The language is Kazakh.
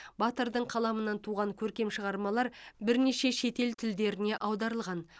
батырдың қаламынан туған көркем шығармалар бірнеше шетел тілдеріне аударылған